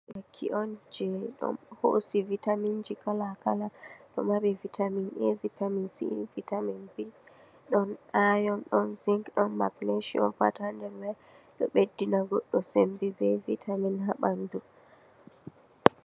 Lekki on je ɗon hoosi Vitaminji kal-kala, ɗo mari Vitamin A, Vitamin C, Vitamin B, ɗon Iron, ɗon Zink, ɗon Magnisium, pat haa nder man. Ɗo ɓeddina goɗɗo sembe bee Vitamin haa ɓanndu.